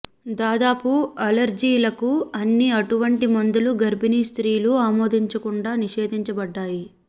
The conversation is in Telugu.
దాదాపు అలెర్జీలకు అన్ని అటువంటి మందులు గర్భిణీ స్త్రీలు ఆమోదించకుండా నిషేధించబడ్డాయి